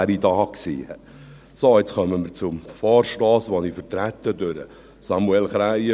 Jetzt kommen wir zum Vorstoss von Samuel Krähenbühl, den ich vertrete.